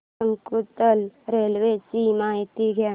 Shakuntala railway ची माहिती द्या